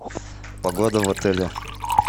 погода в отеле